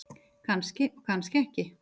Kannski og kannski ekki.